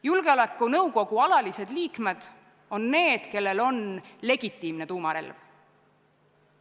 Julgeolekunõukogu alalised liikmed on riigid, kellel on legitiimne tuumarelv.